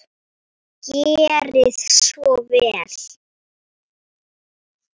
Gerið svo vel.